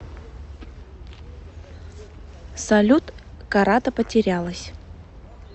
салют карата потерялась